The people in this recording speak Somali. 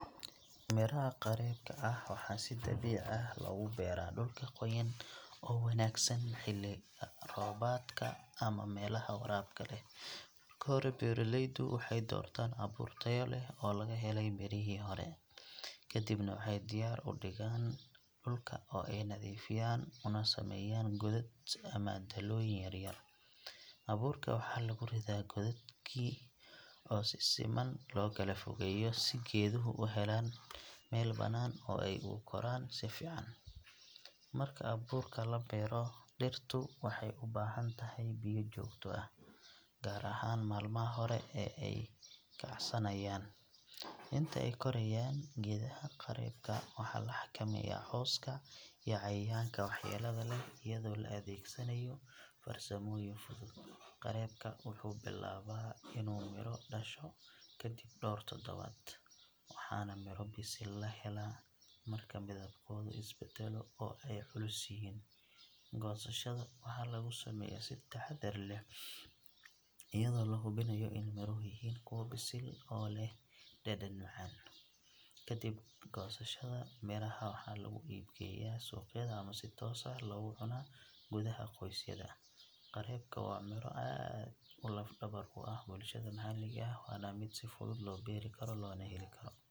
Miraha qareebka ah waxaa si dabiici ah loogu beeraa dhulka qoyan oo wanaagsan xilliga roobaadka ama meelaha waraabka leh. Marka hore beeraleydu waxay doortaan abuur tayo leh oo laga helay mirihii hore, kadibna waxay diyaar u dhigaan dhulka oo ay nadiifiyaan una sameeyaan godad ama dalooyin yar yar. Abuurka waxaa lagu ridaa godadkii oo si siman loo kala fogeeyo si geeduhu u helaan meel bannaan oo ay ugu koraan si fiican. Marka abuurka la beero, dhirtu waxay u baahan tahay biyo joogto ah, gaar ahaan maalmaha hore ee ay kacsanayaan. Inta ay korayaan, geedaha qareebka waxaa la xakameeyaa cawska iyo cayayaanka waxyeellada leh iyadoo la adeegsanayo farsamooyin fudud. Qareebka wuxuu bilaabaa inuu miro dhasho kadib dhowr toddobaad, waxaana miro bisil la helaa marka midabkooda is beddelo oo ay culus yihiin. Goosashada waxaa lagu sameeyaa si taxaddar leh iyadoo la hubinayo in miruhu yihiin kuwo bisil oo leh dhadhan macaan. Kadib goosashada, miraha waxaa lagu iib geeyaa suuqyada ama si toos ah loogu cunaa gudaha qoysyada. Qareebka waa miro aad u lafdhabar u ah bulshada maxalliga ah, waana mid si fudud loo beeri karo loona heli karo.